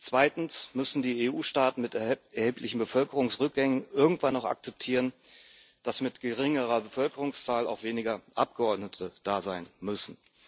Zweitens müssen die EU Staaten mit erheblichem Bevölkerungsrückgang irgendwann auch akzeptieren, dass mit geringerer Bevölkerungszahl auch weniger Abgeordnete da sein müssen.